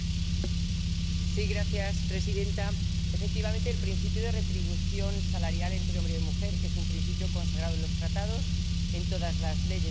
Señora presidenta, efectivamente, el principio de igual retribución salarial para hombres y mujeres es un principio consagrado en los Tratados, en todas las leyes de la Unión Europea.